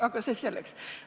Aga see selleks.